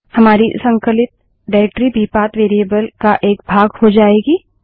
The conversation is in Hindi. हमारी संकलित निर्देशिकाडाइरेक्टरी भी पाथ वेरिएबल का एक भाग हो जाएगी